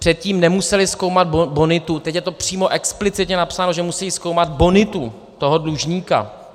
Předtím nemuseli zkoumat bonitu, teď je to přímo explicitně napsáno, že musejí zkoumat bonitu toho dlužníka.